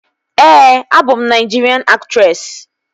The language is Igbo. Ee, abụ m Naịjirian aktresị